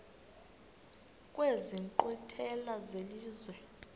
kwezi nkqwithela zelizwe